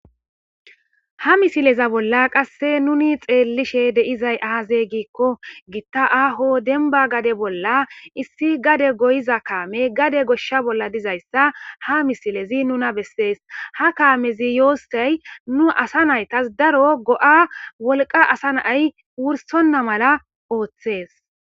Ha misileza bolla qasse nuni xeellishe deizay aaze giikko gitta aaho denba gade bolla issi gade goyiza kaame gade goshsha bolla dizayssa ha misilezi nuna bessees ha kaamezi yoossey nu asa naytas daro go'a wolqa asa nay wursonna mala ooththees.